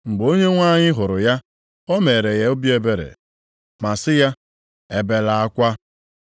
Mgbe Onyenwe anyị hụrụ ya, o meere ya obi ebere ma sị ya, “Ebela akwa.”